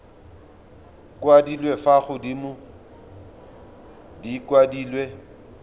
kwadilwe fa godimo di kwadilwe